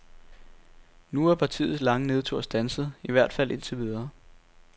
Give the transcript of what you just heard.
Nu er partiets lange nedtur standset, i hvert fald indtil videre.